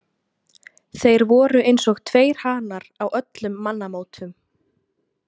Þeir voru eins og tveir hanar á öllum mannamótum.